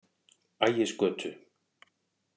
Ægisgötu